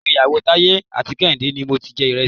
Ìgbéyàwó Taiye àti Kehinde ni mo ti jẹ Ìrẹsì.